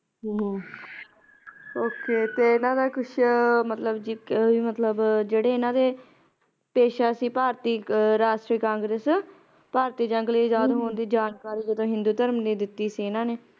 ਹਮ Okay ਤੇ ਇਹਨਾ ਦਾ ਕੁਛ ਮਤਲਬ ਕੇ ਮਤਲਬ ਜਿਹੜੇ ਇਹਨਾ ਦੇ ਪੇਸ਼ਾ ਸੀ ਭਾਰਤੀ ਰਾਸ਼ਟਰੀ Congress ਭਾਰਤੀ ਜੰਗ ਲਈ ਆਜ਼ਾਦ ਹੋਣ ਦੀ ਜਾਣਕਾਰੀ ਹਿੰਦੂ ਧਰਮ ਨੇ ਦਿੱਤੀ ਸੀ ਇਹਨਾ ਨੇ